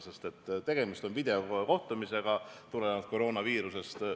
Sest koroonaviirusest tingtituna on tegemist videokohtumisega.